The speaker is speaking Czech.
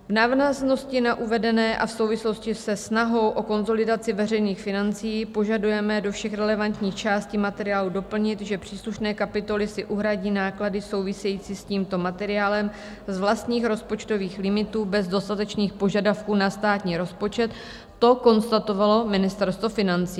V návaznosti na uvedené a v souvislosti se snahou o konsolidaci veřejných financí požadujeme do všech relevantních částí materiálu doplnit, že příslušné kapitoly si uhradí náklady, související s tímto materiálem, z vlastních rozpočtových limitů bez dostatečných požadavků na státní rozpočet - to konstatovalo Ministerstvo financí.